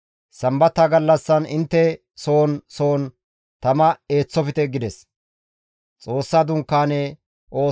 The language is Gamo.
Sambata gallassan intte soon soon tama eeththofte» gides.